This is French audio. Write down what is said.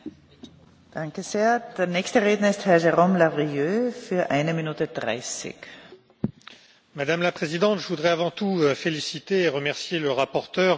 Madame la Présidente, je voudrais avant tout féliciter et remercier le rapporteur, mon collègue français Guillaume Balas pour l'esprit d'ouverture et de consensus avec lequel il a rédigé ce rapport.